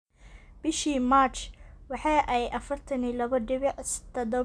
Bishii March, waxa ay 42.7 milyan ginni kula soo wareegeen daafaca Porto Eder Militao.